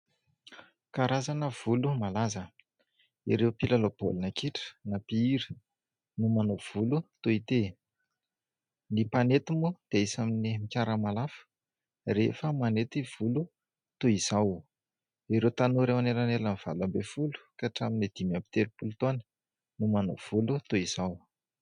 Karazana volo malaza. Ireo mpilalao baolina kitra na mpihira no manao volo toy ity. Ny mpanety moa dia isan'ny mikarama lafo rehefa manety volo toy izao. Ireo tanora eo anelanelan'ny valo ambin'ny folo ka hatramin'ny dimy amby telopolo taona no manao volo toy izao.